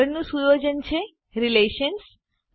આગળનું સુયોજન છે રિલેશન્સ